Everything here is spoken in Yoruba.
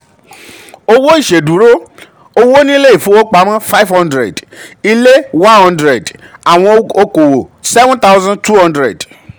owó ìṣèdúró: owó nílé ìfowópamọ́ five hundred ilẹ̀ one hundred àwọn òkòwò seven thousand two hundred.